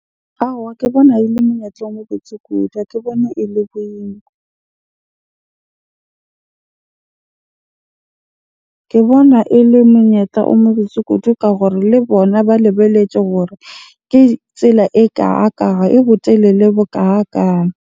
Aowa, ke bona ele monyetla o mo botse kudu. Ha ke bone ele . Ke bona ele monyetla o mo botse kudu ka hore le bona ba lebelletse gore ke tsela , e botelele bo